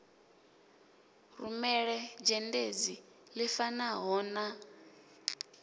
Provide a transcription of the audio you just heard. rumele dzhendedzi ḽi fanaho na